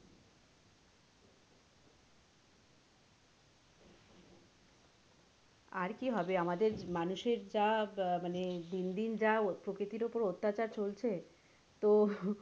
আর কি হবে আমাদের মানুষের যা মানে দিন দিন যা প্রকৃতির ওপর অত্যাচার চলছে তো